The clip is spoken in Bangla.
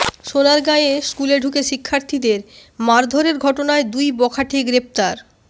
সোনারগাঁয়ে স্কুলে ঢুকে শিক্ষার্থীদের মারধরের ঘটনায় দুই বখাটে গ্রেফতার